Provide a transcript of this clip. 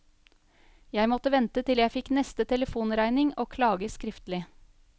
Jeg måtte vente til jeg fikk neste telefonregning og klage skriftlig.